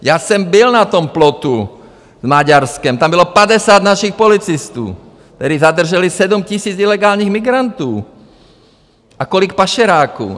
Já jsem byl na tom plotu s Maďarskem, tam bylo 50 našich policistů, kteří zadrželi 7 000 ilegálních migrantů a kolik pašeráků.